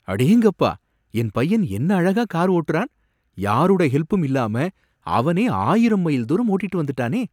அடேங்கப்பா என் பையன் என்ன அழகா கார் ஓட்டுறான், யாரோட ஹெல்பும் இல்லாம அவனே ஆயிரம் மைல் தூரம் ஓட்டிட்டு வந்துட்டானே